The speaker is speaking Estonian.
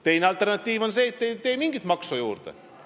Teine alternatiiv on see, et te ei tee mingit maksu juurde.